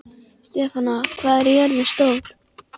Stefana, hvað er jörðin stór?